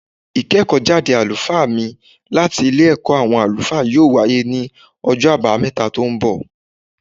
Ìkẹ́kọ̀ọ́ jáde àlùfáà mí láti Ilé ẹ̀kọ́ àwọn àlùfáà yóò wáyé ní ọjọ́ àbámẹ́ta tó ń bọ̀